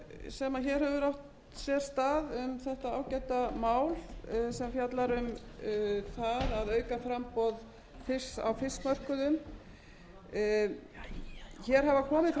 sér stað um þetta ágæta mál sem fjallar um það að auka framboð fisks á fiskmörkuðum hér hafa komið fram